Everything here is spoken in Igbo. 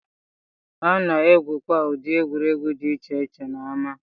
A na-egwukwa ụdị egwuregwu dị iche iche n'ámá